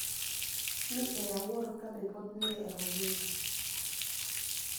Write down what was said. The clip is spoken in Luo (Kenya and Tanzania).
ni e awuoro kabe pod ni e ogima.